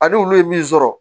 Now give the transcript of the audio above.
A ni olu ye min sɔrɔ